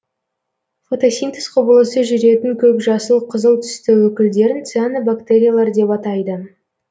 фотосинтез құбылысы жүретін көк жасыл қызыл түсті өкілдерін цианобактериялар деп атайды